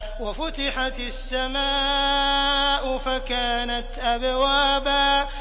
وَفُتِحَتِ السَّمَاءُ فَكَانَتْ أَبْوَابًا